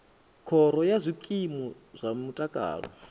khoro ya zwikimu zwa mutakalo